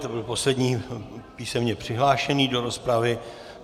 To byl poslední písemně přihlášený do rozpravy.